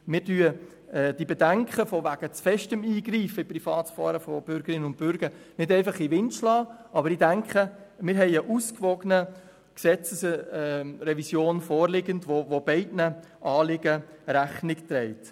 Wir schlagen die Bedenken betreffend zu starken Eingreifens in die Privatsphäre von Bürgerinnen und Bürgern nicht einfach in den Wind, aber ich denke, dass eine ausgewogene Gesetzesrevision vorliegt, die beiden Anliegen Rechnung trägt.